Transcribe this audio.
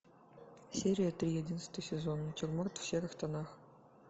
серия три одиннадцатый сезон натюрморт в серых тонах